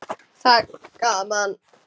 Það er gaman.